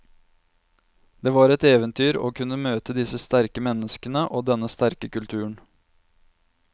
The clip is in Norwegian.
Det var et eventyr å kunne møte disse sterke menneskene og denne sterke kulturen.